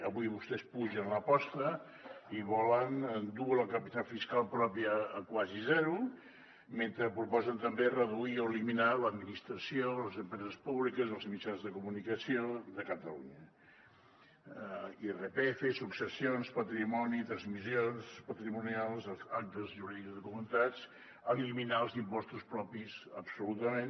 avui vostès apugen l’aposta i volen dur la capacitat fiscal pròpia a quasi zero mentre proposen també reduir o eliminar l’administració les empreses públiques els mitjans de comunicació de catalunya irpf successions patrimoni transmissions patrimonials actes jurídics documentats eliminar els impostos propis absolutament